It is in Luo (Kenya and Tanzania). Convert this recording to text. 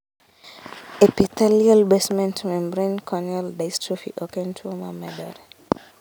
Epithelial basement membrane corneal dystrophy oken tuo ma medore